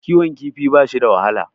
Kiwon kifi bashi da wahala.